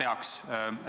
Tänan küsimuse eest!